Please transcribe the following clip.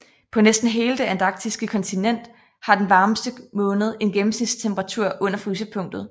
På næsten hele det antarktiske kontinent har den varmeste måned en gennemsnitstemperatur under frysepunktet